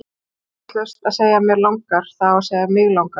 Það er vitlaust að segja mér langar, það á að segja mig langar!